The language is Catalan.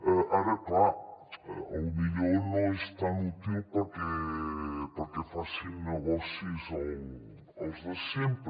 ara clar potser no és tan útil perquè hi facin negoci els de sempre